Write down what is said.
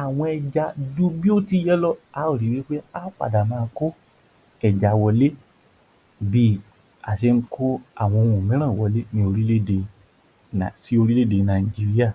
àwọn ẹja ju bí ó ti yẹ lọ, a ó ri wí pé a ò padà ma kó ẹja wọlé bí a ṣe ń kó àwọn ohun mìíràn wọlé ní orílè-èdè sí orílè-èdè Nàìjíríà.